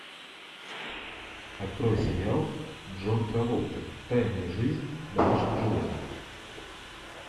открой сериал джон траволты тайная жизнь домашних животных